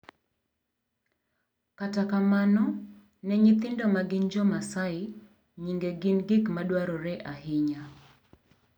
Kata kamano, ne nyithindo ma gin Jo-Maasai, nyinge gin gik ma dwarore ahinya .